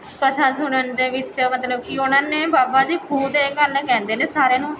ਕਥਾ ਸੁਣਨ ਦੇ ਵਿੱਚ ਮਤਲਬ ਕਿ ਉਹਨਾ ਨੇ ਬਾਬਾ ਜੀ ਖੁਦ ਇਹ ਗੱਲ ਕਹਿੰਦੇ ਨੇ ਸਾਰਿਆ ਨੂੰ